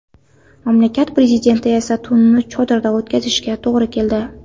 Mamlakat prezidenti esa tunni chodirda o‘tkazishiga to‘g‘ri keldi .